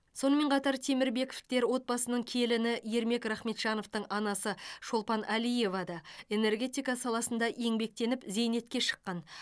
сонымен қатар темірбековтар отбасының келіні ермек рахметжановтың анасы шолпан әлиева да энергетика саласында еңбектеніп зейнетке шыққан